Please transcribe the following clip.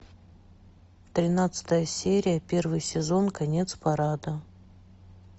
тринадцатая серия первый сезон конец парада